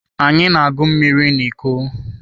Anyị na-agụ mmiri na iko.